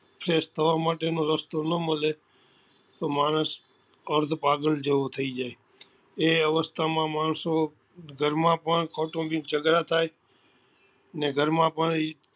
Fresh થવા માટે નો રસ્તો નાં મળે તો માણસ અર્ધ પાગલ જેવું થઇ જાય એ અવસ્થા માં માણસો ઘર માં પણ કૌતોમ્બીક જગડા થાય ને ઘર માં પણ